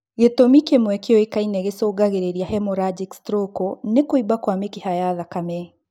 Gĩtũmi kĩmwe kĩũkaine gĩcũngagĩrĩa hemorrhagic stroke nĩ kũimba kwa mĩkiha ya thakame